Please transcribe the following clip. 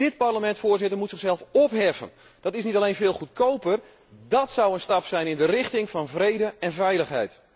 Dit Parlement, Voorzitter, moet zichzelf opheffen. Dat is niet alleen veel goedkoper, maar dat zou een stap in de richting van vrede en veiligheid zijn.